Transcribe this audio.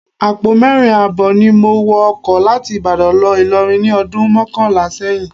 Àpò mẹ́rin ààbọ̀ ni mo wọ ọkọ láti Ìbàdàn lọ Ìlọrin ní ọdún mọ́kànlá sẹ́yìn